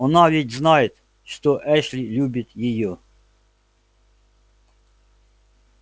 она ведь знает что эшли любит её